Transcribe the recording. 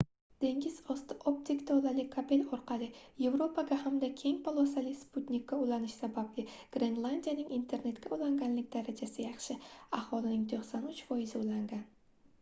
dengiz osti optik tolali kabel orqali yevropaga hamda keng polosali sputnikka ulanish sababli grenlandiyaning internetga ulanganlik darajasi yaxshi – aholining 93%i ulangan